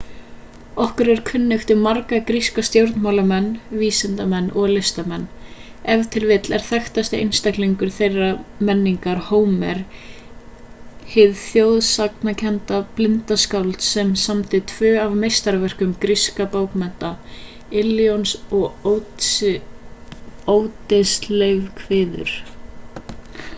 okkur er kunnugt um marga gríska stjórnmálamenn vísindamenn og listamenn ef til vill er þekktasti einstaklingur þeirrar menningar hómer hið þjóðsagnakennda blinda skáld sem samdi tvö af meistaraverkum grískra bókmenna illions og óddyseifskviður